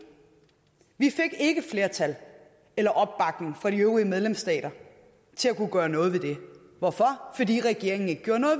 vi fik ikke flertal eller opbakning fra de øvrige medlemsstater til at kunne gøre noget ved det hvorfor fordi regeringen ikke gjorde noget